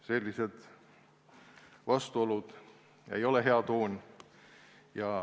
Sellised vastuolud ei ole hea toon.